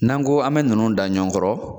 N'an ko an bɛ ninnu da ɲɔgɔn kɔrɔ